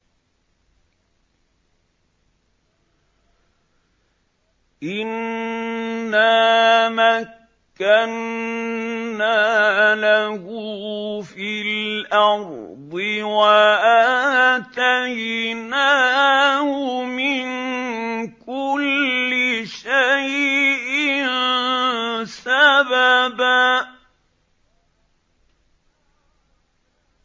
إِنَّا مَكَّنَّا لَهُ فِي الْأَرْضِ وَآتَيْنَاهُ مِن كُلِّ شَيْءٍ سَبَبًا